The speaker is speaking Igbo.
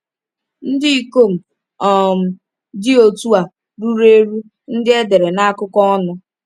Ndị ikom um dị otu a ruru eru ndị edere na akụkọ ọnụ.